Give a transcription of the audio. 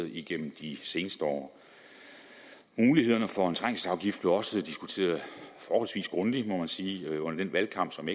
igennem de seneste år mulighederne for en trængselsafgift blev også diskuteret forholdsvis grundigt må man sige under den valgkamp som